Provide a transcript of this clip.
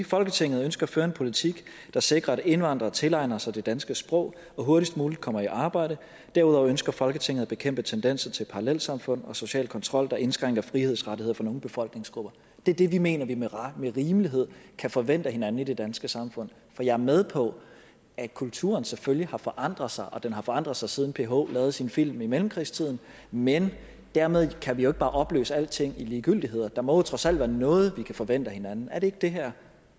folketinget ønsker at føre en politik der sikrer at indvandrere tilegner sig det danske sprog og hurtigst muligt kommer i arbejde derudover ønsker folketinget at bekæmpe tendenser til parallelsamfund og social kontrol der indskrænker frihedsrettigheder for nogle befolkningsgrupper det er det vi mener at vi med rimelighed kan forvente af hinanden i det danske samfund for jeg er med på at kulturen selvfølgelig har forandret sig og den har forandret sig siden ph lavede sin film i mellemkrigstiden men dermed kan vi jo ikke bare opløse alting i ligegyldigheder der må jo trods alt være noget vi kan forvente af hinanden er det ikke det her